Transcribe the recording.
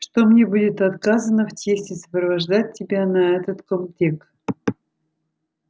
что мне будет отказано в чести сопровождать тебя на этот комтек